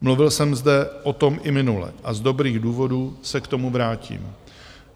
Mluvil jsem zde o tom i minule a z dobrých důvodů se k tomu vrátím.